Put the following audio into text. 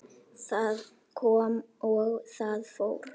Það kom og það fór.